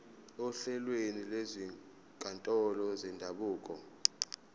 ohlelweni lwezinkantolo zendabuko